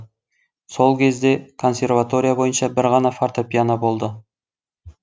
сол кезде консерватория бойынша бір ғана фортапиано болды